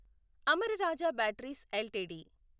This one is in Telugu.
Amara Raja batteries LTD